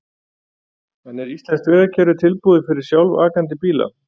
En er íslenskt vegakerfi tilbúið fyrir sjálfakandi bíla?